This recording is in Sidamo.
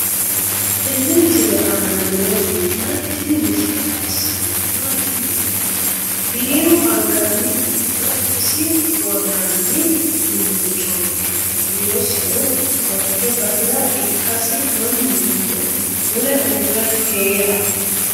tenne misile aana noorina tini misile xawissannori maati yinummoro biiru angannihunna isi woraanni uduunnichchotti kirrosinno qolitte battirra ikkasi maninno mule uurre heera